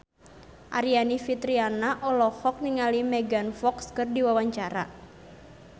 Aryani Fitriana olohok ningali Megan Fox keur diwawancara